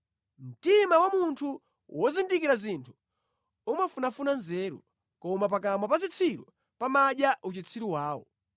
Mtima wa munthu wozindikira zinthu umafunafuna nzeru, koma pakamwa pa zitsiru pamadya uchitsiru wawo.